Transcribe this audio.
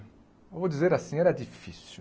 Eu vou dizer assim, era difícil.